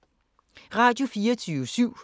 Radio24syv